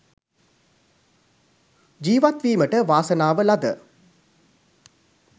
ජීවත්වීමට වාසනාව ලද